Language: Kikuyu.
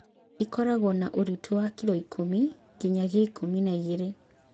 Ĩkoragwo na ũritũ wa kiloikũmi nginyagia ikũmi na igĩrĩ